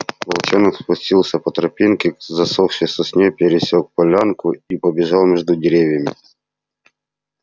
волчонок спустился по тропинке к засохшей сосне пересёк полянку и побежал между деревьями